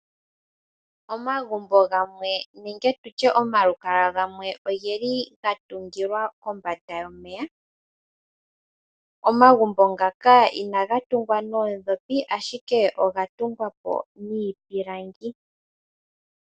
Omagumbo gamwe nenge tutye omahala gamwe ogeli gatungilwa kombanda yomeya. Omagumbo ngako inagatumwa noodhopi ihe ashike ogatungwapo niipilangi.